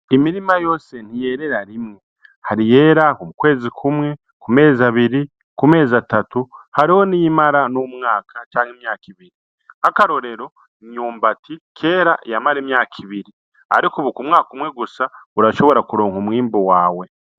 Imirima yose ntiyerera rimwe hari iyera mu kwezi kumwe ku mezi abiri ku mezi atatu hariho niyimara n’umwaka canke imyaka ibiri nkakarorero imyumbati kera yamara imyaka ibiri ariko ubu kumwaka umwe gusa urashobora kuronka umwimbu wawe.